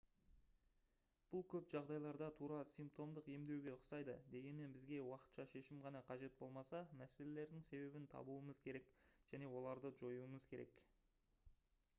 бұл көп жағдайларда тура симптомдық емдеуге ұқсайды дегенмен бізге уақытша шешім ғана қажет болмаса мәселелердің себебін табуымыз керек және оларды жоюымыз керек